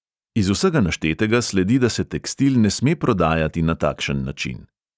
Iz vsega naštetega sledi, da se tekstil ne sme prodajati na takšen način.